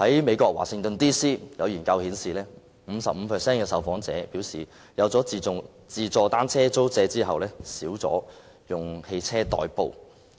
美國華盛頓 DC 的研究顯示 ，55% 的受訪者表示在推出"自助單車租借"服務後，減少了以汽車代步。